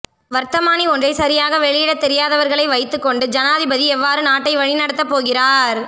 வர்த்தமானி ஒன்றை சரியாக வெளியிட தெரியாதவர்களை வைத்துக்கொண்டு ஜனாதிபதி எவ்வாறு நாட்டை வழி நடத்தப்போகிறார்